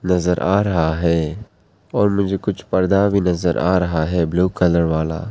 नजर आ रहा है और मुझे कुछ पर्दा भी नजर आ रहा है ब्लू कलर वाला।